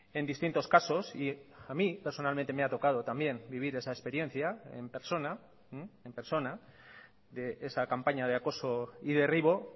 en distintos casos y a mí personalmente me ha tocado también vivir esa experiencia en persona en persona de esa campaña de acoso y derribo